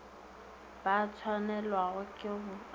ba swanelwago ke go a